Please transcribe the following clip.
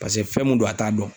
Paseke fɛn mun don, a t'a dɔn.